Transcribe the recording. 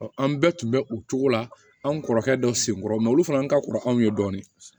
an bɛɛ tun bɛ o cogo la an kɔrɔkɛ dɔ senkɔrɔ olu fana ka kɔrɔ an ye dɔɔnin